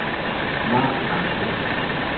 Marc Ahmed